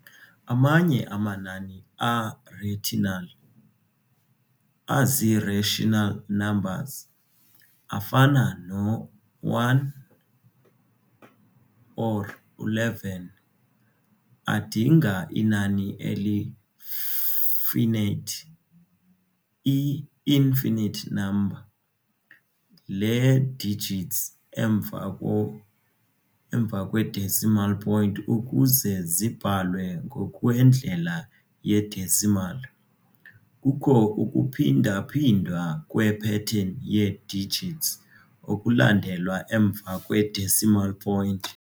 Amanye amanani a-rational, azi-rational numbers, afana no-1 or11, adinga inani eli-finate, i-infinite number, lee-digits emva kwe-decimal point ukuze zibhalwe ngokwendlela ye-decimal. Kukho ukuphindaphindwa kwe-pattern yee-digits okulandela emva kwe-decimal point.